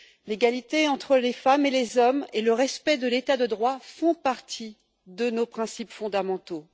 L'égalité entre les femmes et les hommes et le respect de l'état de droit font partie de nos principes fondamentaux.